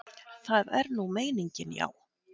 Það er nú meiningin, já.